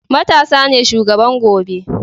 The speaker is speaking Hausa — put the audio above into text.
matasa ne shugaban gobe